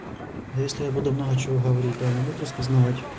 а если я буду много чего говорить то они будут распознавать